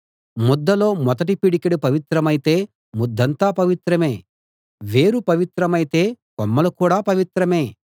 ముద్దలో మొదటి పిడికెడు పవిత్రమైతే ముద్దంతా పవిత్రమే వేరు పవిత్రమైతే కొమ్మలు కూడా పవిత్రమే